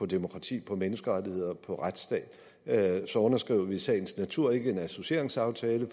demokrati menneskerettigheder og retsstat så underskriver vi i sagens natur ikke en associeringsaftale